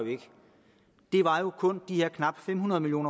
kun de her knap fem hundrede million